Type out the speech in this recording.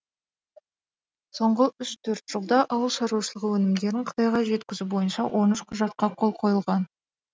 соңғы үш төрт жылда ауыл шаруашылығы өнімдерін қытайға жеткізу бойынша он үш құжатқа қол қойылған